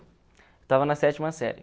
Estava na sétima série.